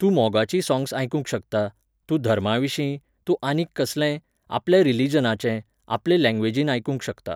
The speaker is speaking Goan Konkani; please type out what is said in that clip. तूं मोगाचीं सॉंग्स आयकूंक शकता, तूं धर्माविशीं, तूं आनीक कसलेंय, आपल्या रिलिजनाचें, आपले लॅंग्वेजीन आयकूंक शकता.